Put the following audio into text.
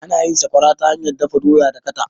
Ana yin sakwara ta hanyar dafa doya da dakata.